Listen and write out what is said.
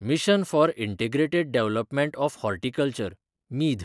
mission for integrated development of horticulture (मीध)